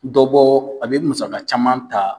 Dɔ bɔ a bɛ musaga caman ta